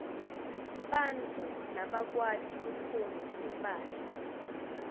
bantfu labakwati kutfunga timphahla